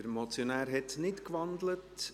Der Motionär hat nicht gewandelt.